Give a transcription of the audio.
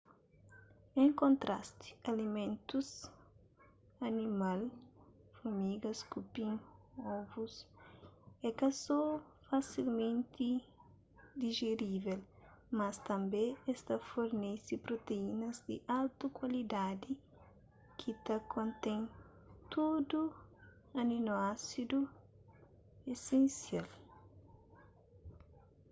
en kontrasti alimentus animal furmigas kupin ovus é ka so fasilmenti dijerível mas tanbê es ta fornese proteínas di altu kuantidadi ki ta kontén tudu aninoásidu esensial